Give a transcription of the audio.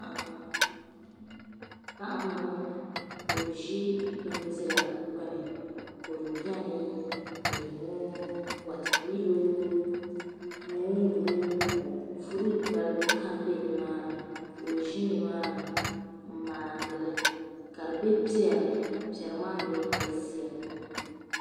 Paɣa m boŋɔ ka o ʒi bindira gbini kodu biɛni leemuu wata milo moongu furuti balibu kam biɛni nimaani ka o ʒi nimaani m maani li ka di be piɛri ni piɛri maa mee galisiya pam.